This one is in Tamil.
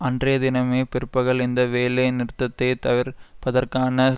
அன்றைய தினமே பிற்பகல் இந்த வேலை நிறுத்தத்தை தவிர்ப் பதற்கான